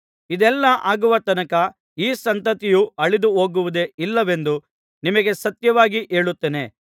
ಇದೆಲ್ಲಾ ಆಗುವ ತನಕ ಈ ಸಂತತಿಯು ಅಳಿದುಹೋಗುವುದೇ ಇಲ್ಲವೆಂದು ನಿಮಗೆ ಸತ್ಯವಾಗಿ ಹೇಳುತ್ತೇನೆ